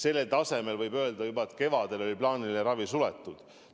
Kevadel oli selle taseme korral plaaniline ravi juba suletud.